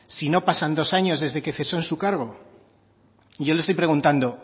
si no pasan dos años desde que cesó de su cargo yo le estoy preguntando